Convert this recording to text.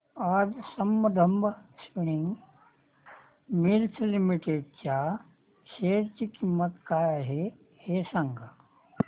आज Sambandam spinning mills limited च्या share ची किंमत काय आहे हे सांगा